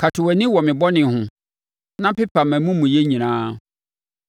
Kata wʼani wɔ me bɔne ho na pepa mʼamumuyɛ nyinaa.